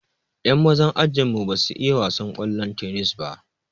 Yan mazan ajinmu ba su iya wasan ƙwallon tennis ba.